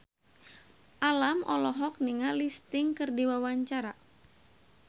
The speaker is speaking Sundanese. Alam olohok ningali Sting keur diwawancara